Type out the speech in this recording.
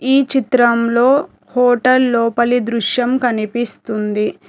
ఈ చిత్రంలో హోటల్ లోపలి దృశ్యం కనిపిస్తుంది.